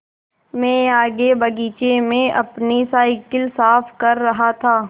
मैं आगे बगीचे में अपनी साईकिल साफ़ कर रहा था